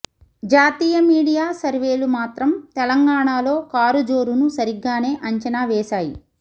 జాతీయ మీడియా సర్వేలు మాత్రం తెలంగాణలో కారు జోరును సరిగ్గానే అంచనా వేశాయి